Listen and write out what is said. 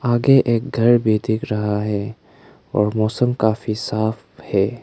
आगे एक घर भी दिख रहा है और मौसम काफी साफ है।